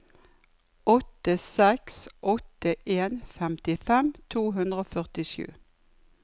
åtte seks åtte en femtifem to hundre og førtisju